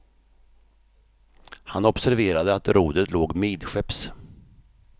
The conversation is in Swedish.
Han observerade att rodret låg midskepps.